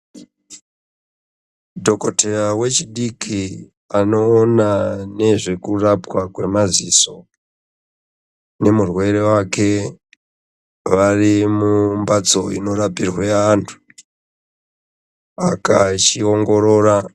Dhogodheya wechidiki anoona nezvekurapwa kwemaziso nemurwere wake varimumhatso inorapirwe antu achiongorora.